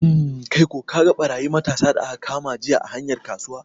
Hmm, kaiko kaga ɓarayi matasa da aka kama jiya a hanyar kasuwa?